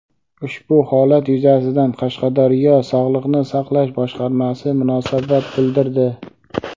Ushbu holat yuzasidan Qashqadaryo Sog‘liqni saqlash boshqarmasi munosabat bildirdi.